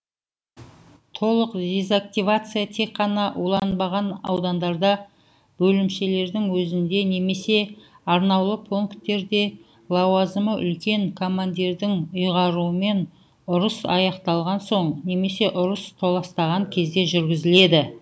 толық дезактивация тек қана уланбаған аудандарда бөлімшелердің өзінде немесе арнаулы пункттерде лауазымы үлкен командирдің үйғаруымен ұрыс аякталған соң немесе ұрыс толастаған кезде жүргізіледі